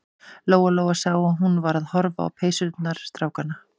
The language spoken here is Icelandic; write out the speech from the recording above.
Lóa-Lóa sá að hún var að horfa á peysurnar strákanna.